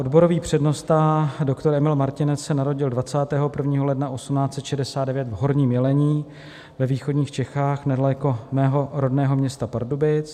Odborový přednosta doktor Emil Martinec se narodil 21. ledna 1869 v Horním Jelení ve východních Čechách, nedaleko mého rodného města Pardubic.